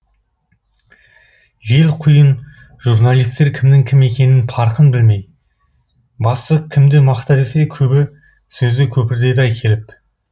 жел құйын журналистер кімнің кім екенінің паркын білмей бастық кімді мақта десе көбі сөзді көпіртеді ай келіп